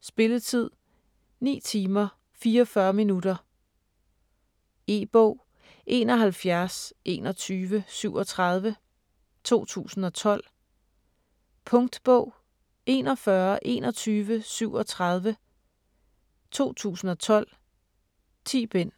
Spilletid: 9 timer, 44 minutter. E-bog 712137 2012. Punktbog 412137 2012. 10 bind.